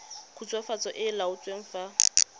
khutswafatso e e laotsweng fa